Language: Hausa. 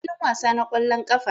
A filin wasa na ƙwallon ƙafa